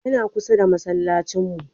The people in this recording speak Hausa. Yana kusa da masallacin mu.